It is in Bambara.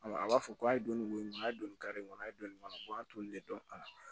a b'a fɔ ko a ye donnin a ye don nin kare in kɔnɔ a ye donnin kɔnɔ ko an t'olu de dɔn a la